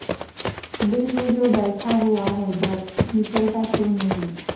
دل میں جو بیٹھا ہوا ہے ڈر نکلتا کیوں نہیں